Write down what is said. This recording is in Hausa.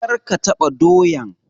Kar ka taɓa doyan!